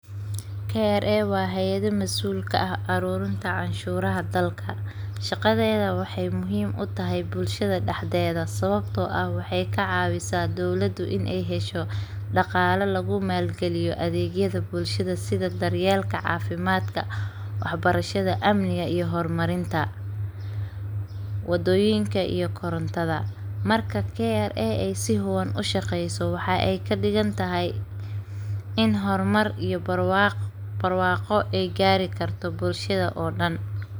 kra waa hayad masuul ka ah aruurinta canshuraha dalka, shaqadeeyda waxeey muhiim utahay bulshada dexdeeda sababta oo ah waxeey ka cawisa dowlada inaay hesho daqaala lagu maal galiyo adeegyada bulshada sida daryeelka cafimaadka, wax barashada, amniga iyo hor marinta, wadoyinka iyo korontada, marki aay si hufan ushaqeyso waxeey kadigan tahay in hor mar iyo barwaaqo aay gaari karto bulshada oo dan.